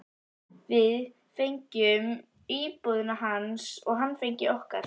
Við fengjum íbúðina hans og hann fengi okkar.